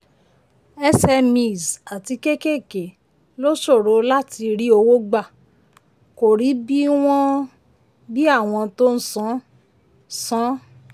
smes àti kékèké ló ṣòro láti rí owó gbà kò rí bí àwọn tó ń san. san.